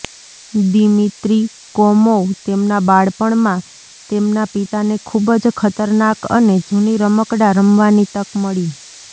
Dmitry Komov તેમના બાળપણમાં તેમના પિતાને ખૂબ જ ખતરનાક અને જૂની રમકડાં રમવાની તક મળી